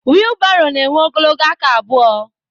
wịịlbarò na-énwé ogologo aka abụo